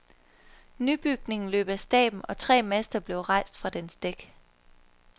Nybygningen løb af stablen, og tre master blev rejst fra dens dæk.